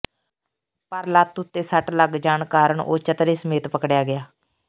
ਪਰ ਲੱਤ ਉੱਤੇ ਸੱਟ ਲੱਗ ਜਾਣ ਕਾਰਨ ਉਹ ਚਤਰੇ ਸਮੇਤ ਪਕੜਿਆ ਗਿਆ